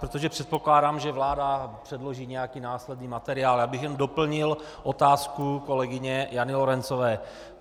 Protože předpokládám, že vláda předloží nějaký následný materiál, já bych jen doplnil otázku kolegyně Jany Lorencové.